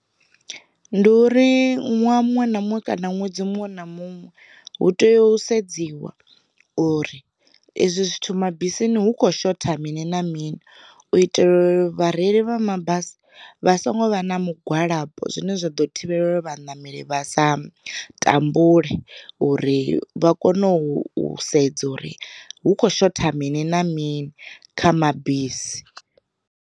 Ndi uri ṅwaha muṅwe na muṅwe kana ṅwedzi muṅwe na muṅwe, hu tea u sedziwa uri ezwi zwithu mabisini hu khou shotha mini na mini u itela uri vhareili vha mabasi vha songo vha na mugwalabo, zwine zwa ḓo thivhela vhaṋameli vha sa tambule uri vha kone u sedza uri hu kho shotha mini na mini kha mabisi.